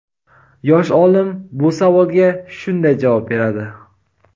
Yosh olim bu savolga shunday javob beradi:.